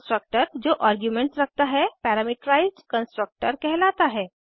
constructor जो arguments रखता है पैरामीटराइज्ड कंस्ट्रक्टर कहलाता है